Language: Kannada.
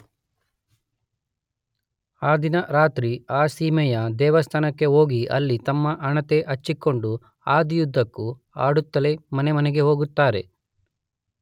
ಆ ದಿನ ರಾತ್ರಿ ಆ ಸೀಮೆಯ ದೇವಸ್ಥಾನಕ್ಕೆ ಹೋಗಿ ಅಲ್ಲಿ ತಮ್ಮ ಹಣತೆ ಹಚ್ಚಿಕೊಂಡು ಹಾದಿಯುದ್ದಕ್ಕೂ ಹಾಡುತ್ತಲೇ ಮನೆಮನೆಗೆ ಹೋಗುತ್ತಾರೆ.